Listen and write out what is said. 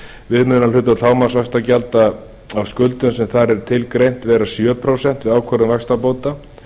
áttundu grein laganna skal viðmiðunarhlutfall hámarksvaxtagjalda af skuldum sem þar er tilgreint vera sjö prósent við ákvörðun vaxtabóta